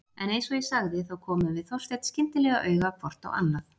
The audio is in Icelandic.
En eins og ég sagði þá komum við Þorsteinn skyndilega auga hvort á annað.